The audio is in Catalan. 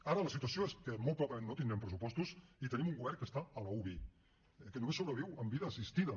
ara la situació és que molt probablement no tindrem pressupostos i tenim un govern que està a l’uvi que només sobreviu amb vida assistida